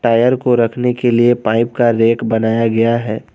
Tyre को रखने के लिए पाइप का रैक बनाया गया है।